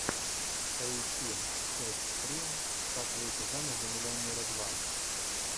поищи часть три как выйти замуж за миллионера два